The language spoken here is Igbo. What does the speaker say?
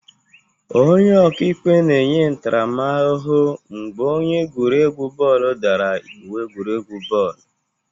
Onye ọka ikpe na-enye ntaramahụhụ mgbe onye egwuregwu bọọlụ dara iwu egwuregwu bọọlụ.